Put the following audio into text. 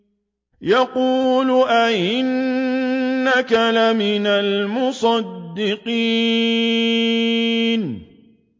يَقُولُ أَإِنَّكَ لَمِنَ الْمُصَدِّقِينَ